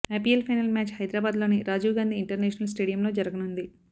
IPL final match హైదరాబాద్లోని Rajiv Gandhi international స్టేడియంలో జరగనుంది